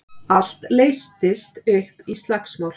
Allt leystist upp í slagsmál.